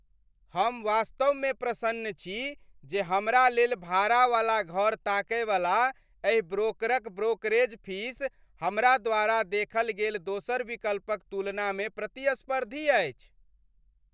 हम वास्तवमे प्रसन्न छी जे हमरा लेल भाड़ा वाला घर ताकयवला एहि ब्रोकरक ब्रोकरेज फीस हमरा द्वारा देखल गेल दोसर विकल्पक तुलनामे प्रतिस्पर्धी अछि।